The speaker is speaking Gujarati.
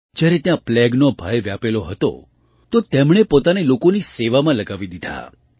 જ્યારે ત્યાં પ્લેગનો ભય વ્યાપેલો હતો તો તેમણે પોતાને લોકોની સેવામાં લગાવી દીધા